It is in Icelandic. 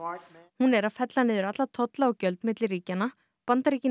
hún er að fella niður alla tolla og gjöld milli ríkjanna Bandaríkin